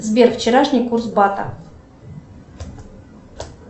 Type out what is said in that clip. сбер вчерашний курс бата